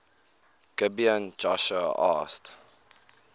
gibeon joshua asked